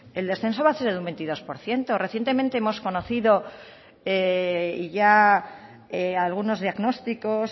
el descenso va a ser de un veintidós por ciento recientemente hemos conocido ya algunos diagnósticos